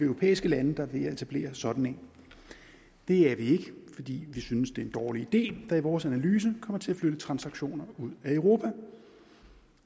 europæiske lande der er ved at etablere sådan en det er vi ikke fordi vi synes det er en dårlig idé der i vores analyse kommer til at flytte transaktioner ud af europa